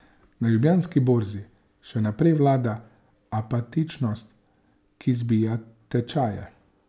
Na Ljubljanski borzi še naprej vlada apatičnost, ki zbija tečaje.